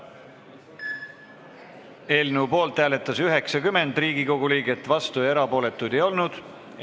Hääletustulemused Eelnõu poolt hääletas 90 Riigikogu liiget, vastuolijaid ega erapooletuid ei olnud.